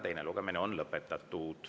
Teine lugemine on lõpetatud.